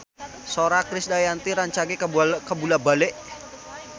Sora Krisdayanti rancage kabula-bale